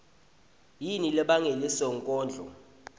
yini lebangele sonkondlo